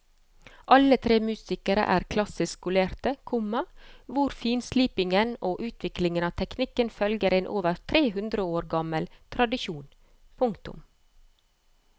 Alle tre musikerne er klassisk skolerte, komma hvor finslipingen og utviklingen av teknikken følger en over tre hundre år gammel tradisjon. punktum